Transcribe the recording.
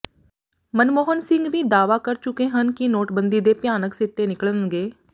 ਮਨਮੋਹਨ ਸਿੰਘ ਵੀ ਦਾਅਵਾ ਕਰ ਚੁੱਕੇ ਹਨ ਕਿ ਨੋਟਬੰਦੀ ਦੇ ਭਿਆਨਕ ਸਿੱਟੇ ਨਿਕਲਣਗੇ